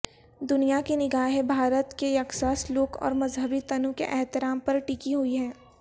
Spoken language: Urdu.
دنیاکی نگاہیں بھارت کے یکساں سلوک اورمذہبی تنوع کے احترام پرٹکی ہوئی ہیں